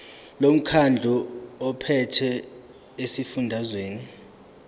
lomkhandlu ophethe esifundazweni